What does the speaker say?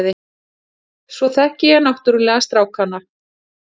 Svo þekki ég náttúrulega strákana.